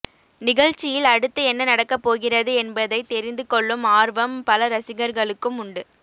நிகழ்ச்சியில் அடுத்து என்ன நடக்கப் போகிறது என்பதைத் தெரிந்து கொள்ளும் ஆர்வம் பல ரசிகர்களுக்கு உண்டு